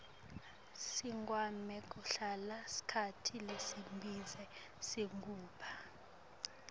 sigweme kuhlala sikhatsi lesibze singabu